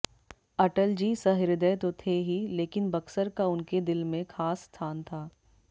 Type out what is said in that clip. अटल जी सहृदय तो थे ही लेकिन बक्सर का उनके दिल में खास स्थान था